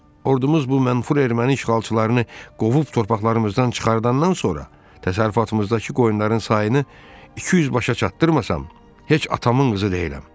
Ordumuz bu mənfur erməni işğalçılarını qovub torpaqlarımızdan çıxardandan sonra, təsərrüfatımızdakı qoyunların sayını 200 başa çatdırmasam, heç atamın qızı deyiləm.